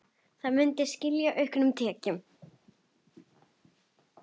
Það muni skila auknum tekjum.